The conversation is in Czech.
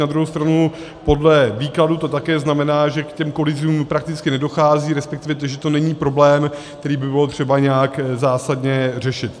Na druhou stranu podle výkladu to také znamená, že k těm kolizím prakticky nedochází, respektive že to není problém, který by bylo třeba nějak zásadně řešit.